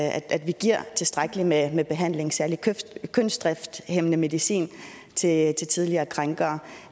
at vi giver tilstrækkeligt med med behandling særlig kønsdrifthæmmende medicin til tidligere krænkere